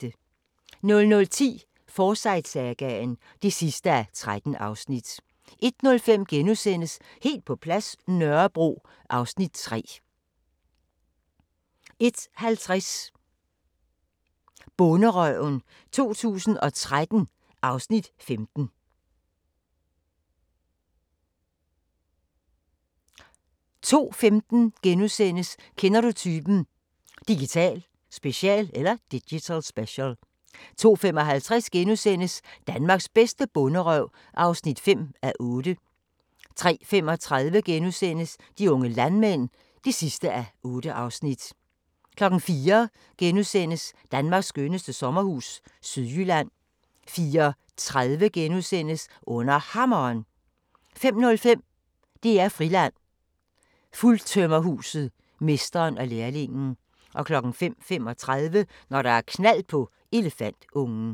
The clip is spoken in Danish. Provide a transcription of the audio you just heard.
00:10: Forsyte-sagaen (13:13) 01:05: Helt på plads – Nørrebro (Afs. 3)* 01:50: Bonderøven 2013 (Afs. 15) 02:15: Kender du typen? – Digital special * 02:55: Danmarks bedste bonderøv (5:8)* 03:35: De unge landmænd (8:8)* 04:00: Danmarks skønneste sommerhus – Sydjylland * 04:30: Under Hammeren * 05:05: DR-Friland: Fuldtømmerhuset – mesteren og lærlingen 05:35: Når der er knald på elefantungen